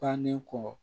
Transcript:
Bannen kɔ